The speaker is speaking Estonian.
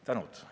Tänan!